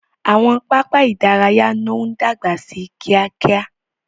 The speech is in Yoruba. Àwọn pápá idaraya no dagba sí kíákíá.